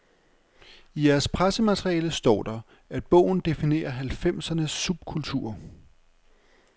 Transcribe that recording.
I jeres pressemateriale står der, at bogen definerer halvfemsernes subkulturer.